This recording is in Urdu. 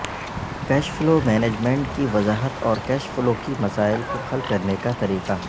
کیش فلو مینجمنٹ کی وضاحت اور کیش فلو کی مسائل کو حل کرنے کا طریقہ